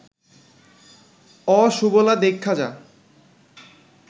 অ সুবলা দেইখ্যা যা